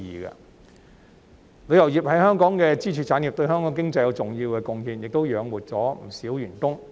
旅遊業是香港的支柱產業，對香港經濟有重要貢獻，亦養活了不少員工。